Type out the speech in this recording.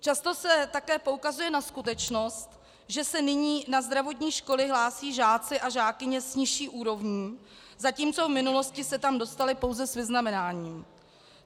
Často se také poukazuje na skutečnost, že se nyní na zdravotní školy hlásí žáci a žákyně s nižší úrovní, zatímco v minulosti se tam dostali pouze s vyznamenáním.